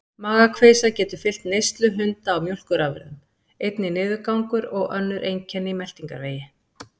Magakveisa getur fylgt neyslu hunda á mjólkurafurðum, einnig niðurgangur og önnur einkenni í meltingarvegi.